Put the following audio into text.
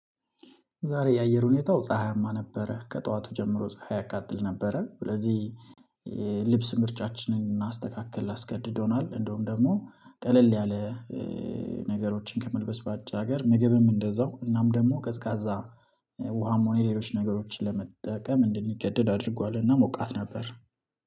ዛሬ የአየር ሁኔታው ፀሀያማ ነበረ ከጠዋቱ ጀምሮ ፀሀይ ያቃጥል ነበረ። ስለዚህ ልብስ ምርጫችንን እንድናስተካክል አስገድዶናል እንደውም ደግሞ ቀለል ያለ ነገሮችን ከመልበስ ባሻገር ምግብም እንደዛው እናም ደግሞ ቀዝቃዛ ውሃም ሆነ ሌሎች ነገሮችን ለመጠቀም እንድንገደድ አድርጓልና ሞቃት ነበር።